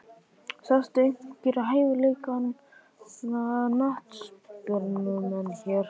Sástu einhverja hæfileikaríka knattspyrnumenn hér?